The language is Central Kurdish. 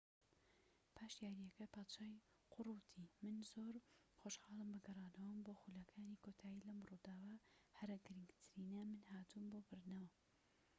پاش یاریەکە پادشای قوڕ وتی من زۆر خۆشحاڵم بە گەڕانەوەم بۆ خولەکانی کۆتایی لەم ڕووداوە هەرە گرنگترینە من هاتووم بۆ بردنەوە